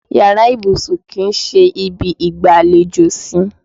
Iyàrá ibùsùn kì í ṣe ibi ìgbàlejò sí.